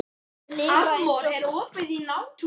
Þær lifa eins og blóm í eggi.